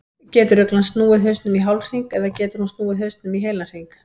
Getur uglan snúið hausnum í hálfhring eða getur hún snúið hausnum í heilan hring?